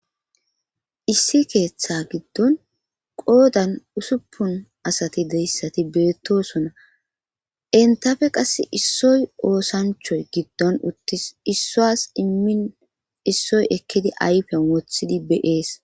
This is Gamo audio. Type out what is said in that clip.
issi keeththa giddon qoodan usuppun asati deyssati beettosona entafe qass issoy oosanchoy giddon uttis issuwas immin issoy ekkidi ayfen wothidi be'ees